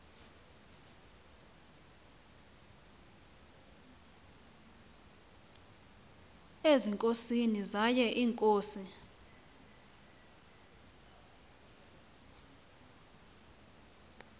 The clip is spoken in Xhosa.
ezinkosini zaye iinkosi